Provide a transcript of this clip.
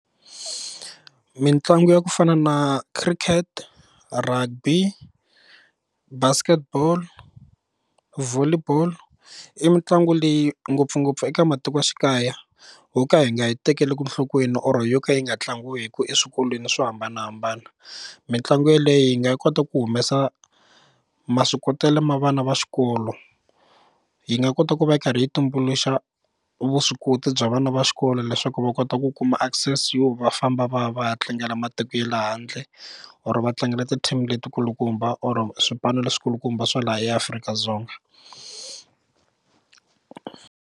Mitlangu ya ku fana na cricket, rugby, basketball volley ball i mitlangu leyi ngopfungopfu eka matikoxikaya ho ka hi nga yi tekeli enhlokweni or yo ka yi nga tlangiwi hi ku eswikolweni swo hambanahambana mitlangu yeleyo yi nga kota ku humesa maswikotelo ma vana va xikolo yi nga kota ku va yi karhi yi tumbuluxa vuswikoti bya vana va xikolo leswaku va kota ku kuma access yo va famba va ya va ya tlangela matiko ye le handle or va tlangela ti-team letikulukumba or swipano leswi kulukumba swa laha eAfrika-Dzonga.